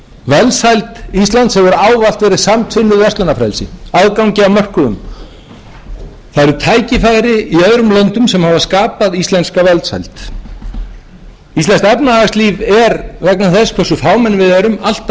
velsæld íslands hefur ávallt verið samtvinnuð verslunarfrelsi aðgangi að mörkuðum það eru tækifæri í öðrum löndum sem hafa skapað íslenska velsæld íslenskt efnahagslíf er vegna þess hversu fámenn við erum alltaf einhæft og við þurfum þess vegna á